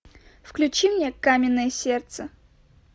включи мне каменное сердце